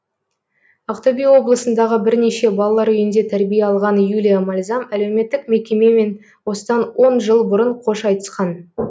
ақтөбе облысындағы бірнеше балалар үйінде тәрбие алған юлия мальзам әлеуметтік мекемемен осыдан он жыл бұрын қош айтысқан